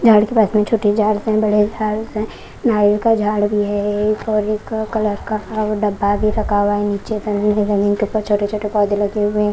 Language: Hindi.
झाड़ के पास में छोटे झाड़ है बड़े झाड़ हैं नारियल का झाड़ भी है एक और एक कलर का डब्बा भी रखा हुआ है नीचे जमीन के ऊपर छोटे-छोटे पौधे लगे हुए हैं।